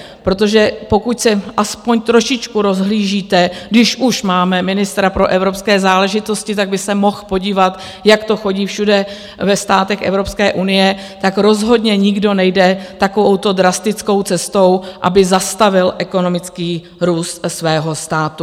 Protože pokud se aspoň trošičku rozhlížíte, když už máme ministra pro evropské záležitosti, tak by se mohl podívat, jak to chodí všude ve státech EU, tak rozhodně nikdo nejde takovouto drastickou cestou, aby zastavil ekonomický růst svého státu.